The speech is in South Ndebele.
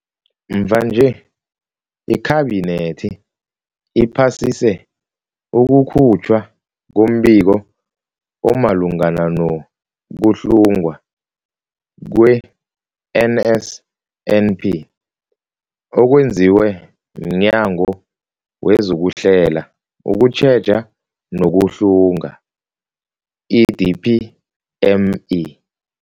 Mvanje, iKhabinethi iphasise ukukhutjhwa kombiko omalungana no-kuhlungwa kwe-NSNP okwenziwe mNyango wezokuHlela, ukuTjheja nokuHlunga, i-DPME.